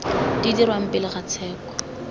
di dirwang pele ga tsheko